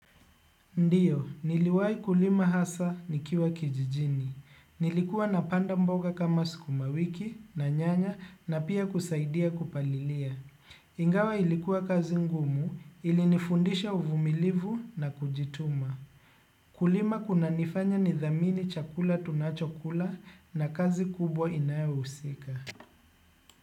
Ndiyo, niliwai kulima hasa nikiwa kijijini. Nilikuwa napanda mboga kama sukuma wiki na nyanya na pia kusaidia kupalilia. Ingawa ilikuwa kazi ngumu ilinifundisha uvumilivu na kujituma. Kulima kunanifanya nidhamini chakula tunachokula na kazi kubwa inayohusika.